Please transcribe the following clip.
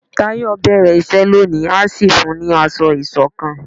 Tayo bẹrẹ iṣẹ lóni a sì fún ní asọ isokan